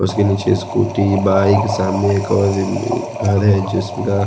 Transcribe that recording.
उसके नीचे scooty bike सामने एक और घर है जिसका--